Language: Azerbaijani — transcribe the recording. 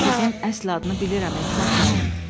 o qızın əsl adını bilirəm Etimad müəllim.